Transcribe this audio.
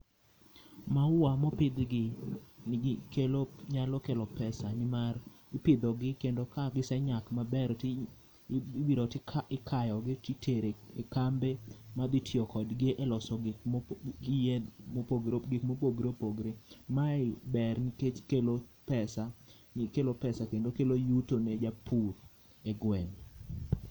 Maua mopidhgi, kelo, nyalo kelo pesa nimar ipidho gi kendo ka gisenyak maber, ti ibiro tikayogi titero e kambe madhi tiyo kodgi e loso gikma opogore opogore. Mae ber nikech okelo pesa kendo kelo yuto ne japur e gweng